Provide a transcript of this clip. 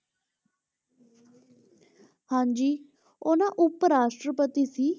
ਹਾਂਜੀ ਉਹ ਨਾ ਉਪ ਰਾਸ਼ਟਰਪਤੀ ਸੀ